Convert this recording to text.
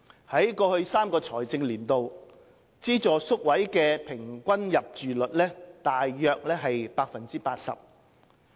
在過去3個財政年度，資助宿位的平均入住率約為 80%。